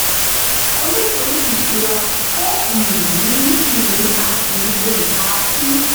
onípín-ìṣura kò um ní ìní a kì í um kà á sí.